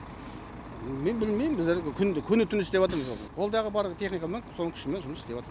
мен білмейм күнде күні түні жұмыс істеп жатырмыз қолдағы бар техникамен соның күшімен жұмыс істеп жатырмыз